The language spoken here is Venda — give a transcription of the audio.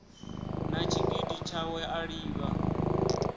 na tshigidi tshawe a livha